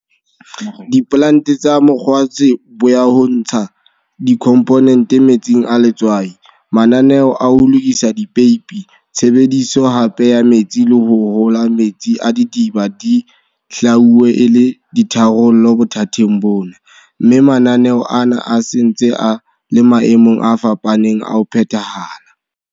Diplante tsa ho mokgwatshe bo ya ho ntsha dikhomponente metsing a letswai, mananeo a ho lokisa dipeipi, tshebediso hape ya metsi le ho hola metsi a didiba di hlwauwe e le ditharollo bothateng bona, mme mananeo ana a se ntse a le maemong a fapaneng a ho phethela.